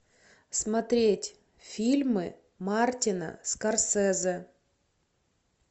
смотреть фильмы мартина скорсезе